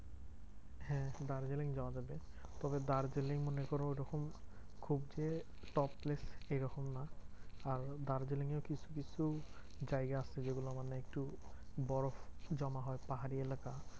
হ্যাঁ দার্জিলিং যাওয়া যাবে। তবে দার্জিলিং মনে করো ঐরকম খুব যে top place এইরকম না। আর দার্জেলিং এ কিছু কিছু জায়গা আছে যেগুলো মানে একটু বরফ জমা হয়। পাহাড়ি এলাকা